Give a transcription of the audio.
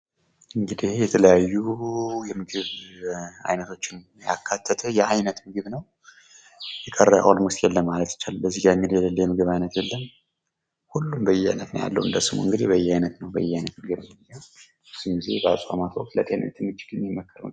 እንግዲህ ይሄ የተለያዩ የምግባ አይነቶችን ያካተተ ያይነት ምግብ ነው። የቀረ የለም ። የቀረ የምግብ አይነት የለም። ሁሉም በያይነት ነው ያለ እንግዲህ እንደስሙ ብዙ ጊዜ በአጽዋማት ወቅት የሚመከር ምግብ ነው።